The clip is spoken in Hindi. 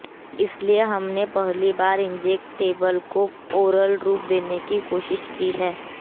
इसलिए हमने पहली बार इंजेक्टेबल को ओरल रूप देने की कोशिश की है